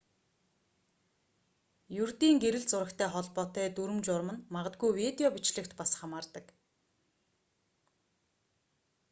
ердийн гэрэл зурагтай холбоотой дүрэм журам нь магадгүй видео бичлэгт бас хамаардаг